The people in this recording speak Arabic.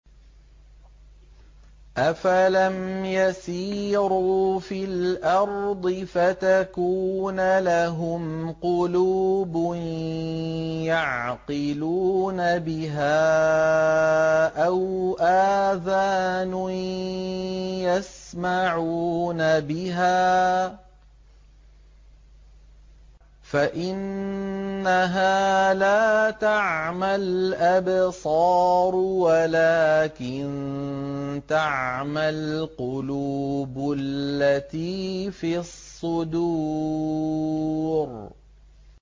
أَفَلَمْ يَسِيرُوا فِي الْأَرْضِ فَتَكُونَ لَهُمْ قُلُوبٌ يَعْقِلُونَ بِهَا أَوْ آذَانٌ يَسْمَعُونَ بِهَا ۖ فَإِنَّهَا لَا تَعْمَى الْأَبْصَارُ وَلَٰكِن تَعْمَى الْقُلُوبُ الَّتِي فِي الصُّدُورِ